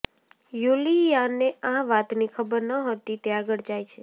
યુલીયાને આ વાતની ખબર નહોતી તે આગળ જાય છે